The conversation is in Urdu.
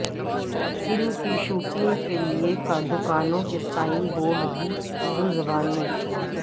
فلم کی شوٹنگ کیلئے دکانوں کے سائن بورڈ بھی اردو زبان میں